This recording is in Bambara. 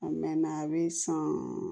A mɛɛnna a bɛ san